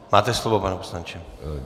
Máte slovo, pane poslanče.